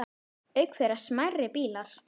Auk þeirra smærri bílar.